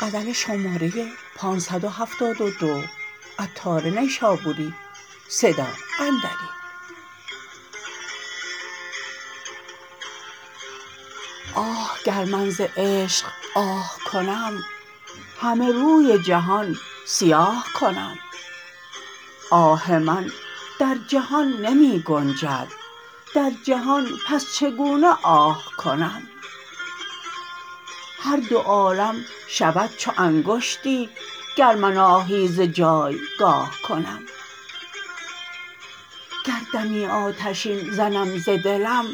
آه گر من ز عشق آه کنم همه روی جهان سیاه کنم آه من در جهان نمی گنجد در جهان پس چگونه آه کنم هر دو عالم شود چو انگشتی گر من آهی ز جایگاه کنم گر دمی آتشین زنم ز دلم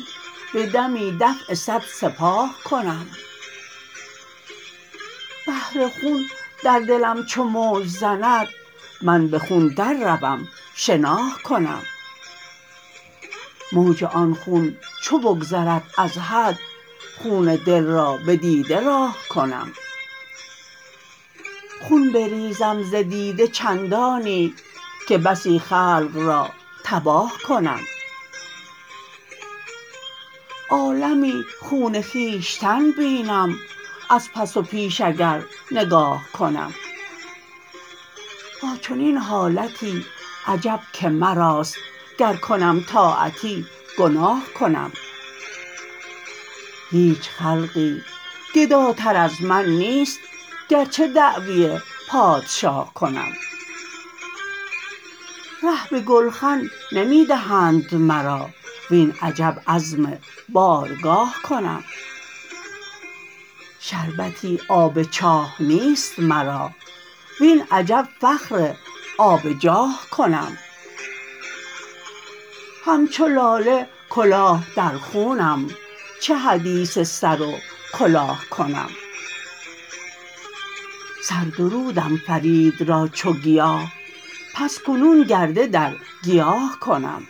به دمی دفع صد سپاه کنم بحر خون در دلم چو موج زند من به خون در روم شناه کنم موج آن خون چو بگذرد از حد خون دل را به دیده راه کنم خون بریزم ز دیده چندانی که بسی خلق را تباه کنم عالمی خون خویشتن بینم از پس و پیش اگر نگاه کنم با چنین حالتی عجب که مراست گر کنم طاعتی گناه کنم هیچ خلقی گداتر از من نیست گرچه دعوی پادشاه کنم ره به گلخن نمی دهند مرا وین عجب عزم بارگاه کنم شربتی آب چاه نیست مرا وی عجب عزم فخر آب جاه کنم همچو لاله کلاه در خونم چه حدیث سر و کلاه کنم سر درودم فرید را چو گیاه پس کنون کره در گیاه کنم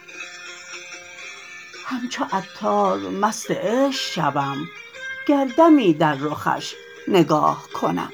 همچو عطار مست عشق شوم گر دمی در رخش نگاه کنم